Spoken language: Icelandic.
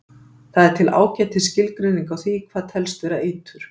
Það er til ágætis skilgreining á því hvað telst vera eitur.